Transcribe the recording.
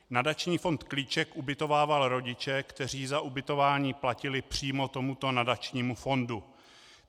Nadační fond Klíček ubytovával rodiče, kteří za ubytování platili přímo tomuto nadačnímu fondu.